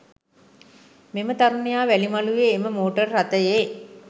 මෙම තරුණයා වැලිමළුවේ එම මෝටර් රථයේ